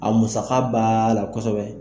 A musaka baaa la kosɛbɛ.